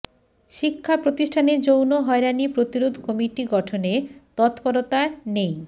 শিক্ষা প্রতিষ্ঠানে যৌন হয়রানি প্রতিরোধ কমিটি গঠনে তৎপরতা নেই